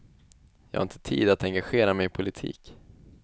Jag har inte tid att engagera mig i politik.